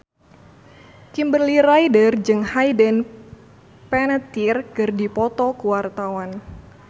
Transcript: Kimberly Ryder jeung Hayden Panettiere keur dipoto ku wartawan